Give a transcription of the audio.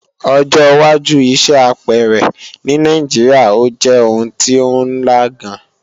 Ọjọ́wájú iṣẹ́ apẹẹrẹ ní Nàìjíríà ó jẹ́ oun tí ó ńla gan